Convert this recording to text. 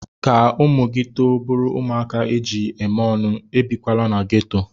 Ka ụmụ gị too bụrụ ụmụaka eji eme ọnụ, ebikwala na geto.